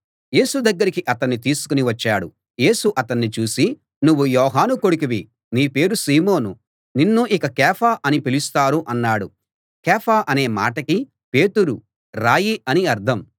యేసు దగ్గరికి అతణ్ణి తీసుకుని వచ్చాడు యేసు అతణ్ణి చూసి నువ్వు యోహాను కొడుకువి నీ పేరు సీమోను నిన్ను ఇక కేఫా అని పిలుస్తారు అన్నాడు కేఫా అనే మాటకి పేతురు రాయి అని అర్థం